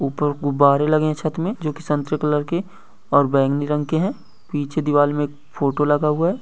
ऊपर गुब्बारे लगे है छत में जो कि संतरे कलर के और बैगनी रंग के हैं पीछे दीवार में एक फोटो लगा हुआ है।